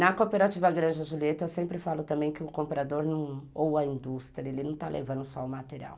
Na cooperativa Granja Julieta, eu sempre falo também que o comprador não... ou a indústria, ele não está levando só o material.